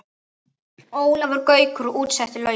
Ólafur Gaukur útsetti lögin.